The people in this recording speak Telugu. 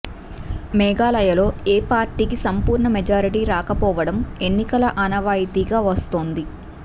మేఘాలయలో ఏ పార్టీకీ సంపూర్ణ మెజారిటీ రాకపోవడం ఎన్నికల ఆనవాయితీగా వస్తోంది